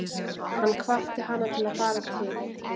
Hann hvatti hana til að fara til